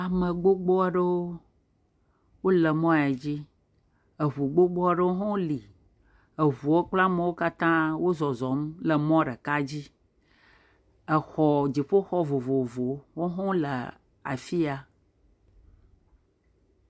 Ame gbogbo aɖewo le mɔ ya dzi. Ŋu gbogbo aɖewo hã li. Ŋuwo kple amewo katã wozɔzɔm le mɔ ɖeka dzi. Xɔ dziƒoxɔ vovovowo, wohã wole afi ya.